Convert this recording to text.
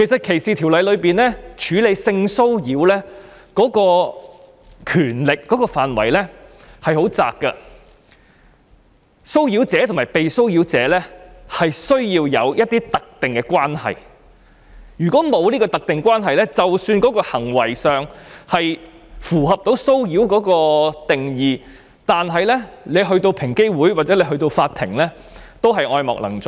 歧視法例中處理性騷擾的權力的範圍很狹窄，騷擾者和被騷擾者必須有特定關係，如果沒有，即使行為上符合騷擾的定義，但個案交到平等機會委員會或法庭手上也是愛莫能助。